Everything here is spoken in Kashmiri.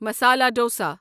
مسالا ڈوسا